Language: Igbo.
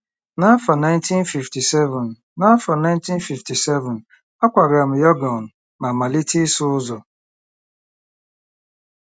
N’afọ 1957, N’afọ 1957, akwagara m Yọngọn ma malite ịsụ ụzọ.